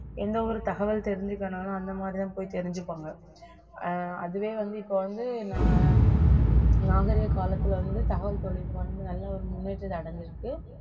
எந்த ஒரு தகவல் தெரிஞ்சுக்கணும்ன்னாலும் அந்த மாதிரிதான் போய் தெரிஞ்சுப்பாங்க ஆஹ் அதுவே வந்து இப்ப வந்து நான் நாகரிக காலத்துல வந்து தகவல் தொழில்நுட்பம் வந்து நல்ல ஒரு முன்னேற்றத்தை அடைஞ்சிருக்கு